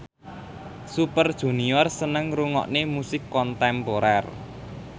Super Junior seneng ngrungokne musik kontemporer